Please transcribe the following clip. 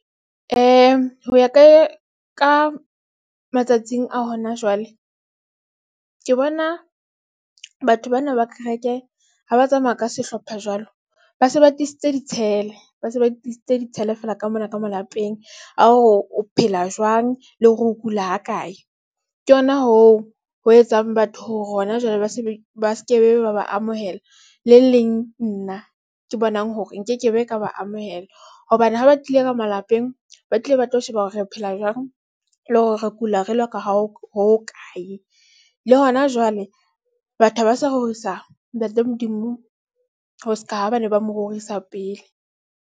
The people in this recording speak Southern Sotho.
Ho ya ka ye ka matsatsing a hona jwale ke bona batho bana ba kereke, ha ba tsamaya ka sehlopha jwalo, ba se ba tlisitse ditshele, ba se ba tlisetse ditshele fela ka mona ka malapeng. A hore o phela jwang le hore ho kula ha kae. Ke yona hoo ho etsang batho hore hona jwale ba se ba skebe, ba ba amohela le leng nna ke bonang hore nkekebe ka ba amohela. Hobane ha ba tlile ka malapeng, ba tlile ba tlo sheba hore re phela jwang le hore re kula re loka ho hokae le hona jwale. Batho ba sa rorisa Ntate Modimo, ho seka ha ba ne ba mo rorisa pele.